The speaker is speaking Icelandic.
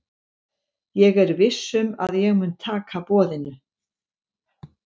Ég er viss um að ég mun taka boðinu.